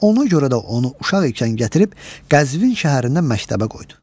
Ona görə də onu uşaq ikən gətirib Qəzvin şəhərində məktəbə qoydu.